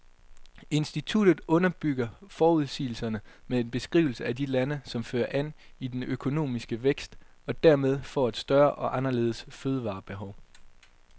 Instituttet underbygger forudsigelserne med en beskrivelse af de lande, som fører an i den økonomiske vækst, og dermed får et større og anderledes fødevarebehov.